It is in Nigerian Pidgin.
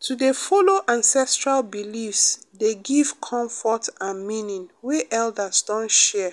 to dey follow ancestral beliefs dey give comfort and meaning wey elders don share